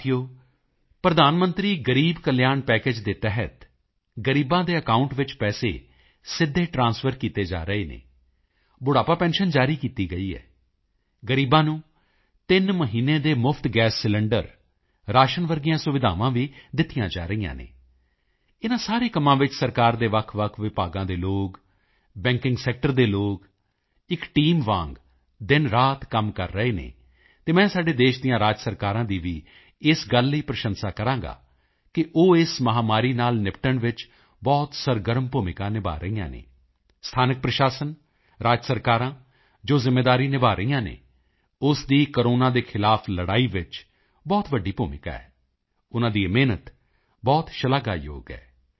ਸਾਥੀਓ ਪ੍ਰਧਾਨ ਮੰਤਰੀ ਗ਼ਰੀਬ ਕਲਿਆਣ ਪੈਕੇਜ ਦੇ ਤਹਿਤ ਗ਼ਰੀਬਾਂ ਦੇ ਅਕਾਉਂਟ ਵਿੱਚ ਪੈਸੇ ਸਿੱਧੇ ਟ੍ਰਾਂਸਫਰ ਕੀਤੇ ਜਾ ਰਹੇ ਹਨ ਬੁਢਾਪਾ ਪੈਨਸ਼ਨ ਜਾਰੀ ਕੀਤੀ ਗਈ ਹੈ ਗ਼ਰੀਬਾਂ ਨੂੰ ਤਿੰਨ ਮਹੀਨੇ ਦੇ ਮੁਫ਼ਤ ਗੈਸ ਸਿਲੰਡਰ ਰਾਸ਼ਨ ਵਰਗੀਆਂ ਸੁਵਿਧਾਵਾਂ ਵੀ ਦਿੱਤੀਆਂ ਜਾ ਰਹੀਆਂ ਹਨ ਇਨ੍ਹਾਂ ਸਾਰੇ ਕੰਮਾਂ ਵਿੱਚ ਸਰਕਾਰ ਦੇ ਵੱਖਵੱਖ ਵਿਭਾਗਾਂ ਦੇ ਲੋਕ ਬੈਂਕਿੰਗ ਸੈਕਟਰ ਦੇ ਲੋਕ ਇੱਕ ਟੀਮ ਵਾਂਗ ਦਿਨਰਾਤ ਕੰਮ ਕਰ ਰਹੇ ਹਨ ਅਤੇ ਮੈਂ ਸਾਡੇ ਦੇਸ਼ ਦੀਆਂ ਰਾਜ ਸਰਕਾਰਾਂ ਦੀ ਵੀ ਇਸ ਗੱਲ ਲਈ ਪ੍ਰਸ਼ੰਸਾ ਕਰਾਂਗਾ ਕਿ ਉਹ ਇਸ ਮਹਾਮਾਰੀ ਨਾਲ ਨਿਪਟਣ ਵਿੱਚ ਬਹੁਤ ਸਰਗਰਮ ਭੂਮਿਕਾ ਨਿਭਾ ਰਹੀਆਂ ਹਨ ਸਥਾਨਕ ਪ੍ਰਸ਼ਾਸਨ ਰਾਜ ਸਰਕਾਰਾਂ ਜੋ ਜ਼ਿੰਮੇਵਾਰੀ ਨਿਭਾ ਰਹੀਆਂ ਹਨ ਉਸ ਦੀ ਕੋਰੋਨਾ ਦੇ ਖ਼ਿਲਾਫ਼ ਲੜਾਈ ਵਿੱਚ ਬਹੁਤ ਵੱਡੀ ਭੂਮਿਕਾ ਹੈ ਉਨ੍ਹਾਂ ਦੀ ਇਹ ਮਿਹਨਤ ਬਹੁਤ ਸ਼ਲਾਘਾਯੋਗ ਹੈ